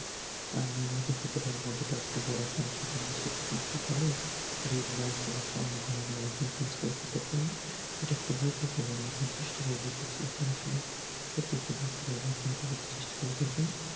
আর নিয়মিত খেতে পারেন মধুটা একটু গরম পানির সাথে মিশিয়ে, প্রতিদিন সকালে দুই glass ঘুমনোর আগে দুই glass করে খেতে পারেন, এটা খুবই উপকারি, আমি একবার চেষ্টা করে দেখেছি, এটা আসলে সত্যি খুবই উপকারি, আপনি যদি এটা চেষ্টা করে দেখেন।